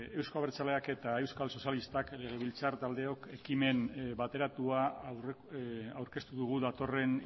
euzko abertzalea eta euskal sozialistak legebiltzar taldeok ekimen bateratua aurkeztu dugu datorren